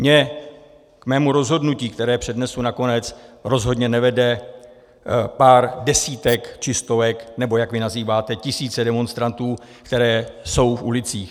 Mě k mému rozhodnutí, které přednesu nakonec, rozhodně nevede pár desítek či stovek nebo, jak vy nazýváte, tisíce demonstrantů, které jsou v ulicích.